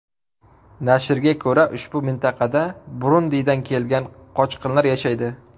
Nashrga ko‘ra, ushbu mintaqada Burundidan kelgan qochqinlar yashaydi.